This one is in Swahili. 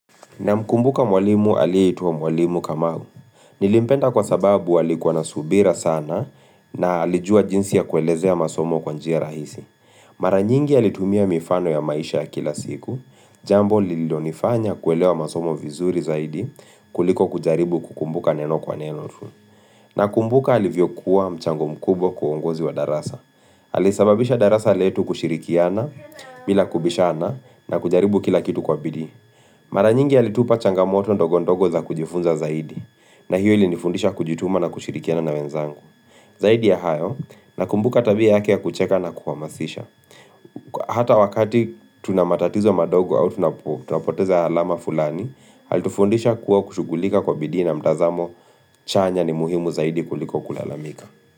Namkumbuka mwalimu alieitwa mwalimu kamau. Nilimpenda kwa sababu alikuwa na subira sana na alijua jinsi ya kuelezea masomo kwa njia rahisi. Mara nyingi alitumia mifano ya maisha ya kila siku. Jambo lilonifanya kuelewa masomo vizuri zaidi kuliko kujaribu kukumbuka neno kwa neno. Nakumbuka alivyokuwa mchango mkubwa kwa uongozi wa darasa. Alisababisha darasa letu kushirikiana, bila kubishana na kujaribu kila kitu kwa bidii. Mara nyingi alitupa changamoto ndogo ndogo za kujifunza zaidi na hiyo ilinifundisha kujituma na kushirikiana na wenzangu Zaidi ya hayo nakumbuka tabia yake ya kucheka na kuhamasisha Hata wakati tuna matatizo madogo au tunapoteza alama fulani alitufundisha kuwa kushugulika kwa bidi ina mtazamo chanya ni muhimu zaidi kuliko kulalamika.